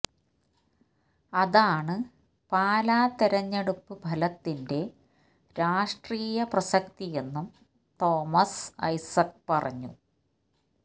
അതാണ് പാലാ തിരഞ്ഞെടുപ്പു ഫലത്തിന്റെ രാഷ്ട്രീയ പ്രസക്തിയെന്നും തോമസ് ഐസക്ക് പറഞ്ഞു